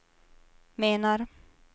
menar